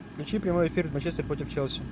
включи прямой эфир манчестер против челси